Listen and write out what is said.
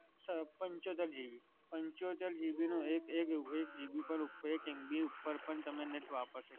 sir પંચોતેર GB. પંચોતેર GB નો એક, એક GB, એક MB ઉપર પણ તમે નથી વાપરી સકતા.